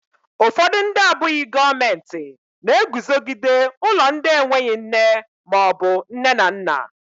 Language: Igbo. Ụfọdụ ndị abụghị gọọmentị na-eguzogide ụlọ ndị enweghị nne maọbụ nne na nna.